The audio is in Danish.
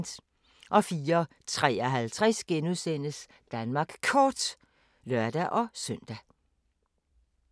04:53: Danmark Kort *(lør-søn)